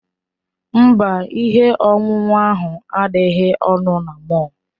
Mba, ihe ọṅụṅụ ahụ adịghị ọnụ na mọll.